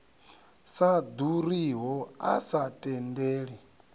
sa ḓuriho a sa tendeli